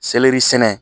Selɛri sɛnɛ